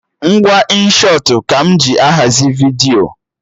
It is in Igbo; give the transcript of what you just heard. Ngwa Inshọtụ ka m ji ahazi vidiyo